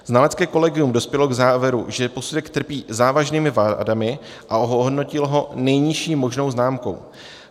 Znalecké kolegium dospělo k závěru, že posudek trpí závažnými vadami, a ohodnotilo ho nejnižší možnou známkou.